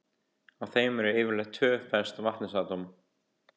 Á þeim eru yfirleitt tvö föst vetnisatóm.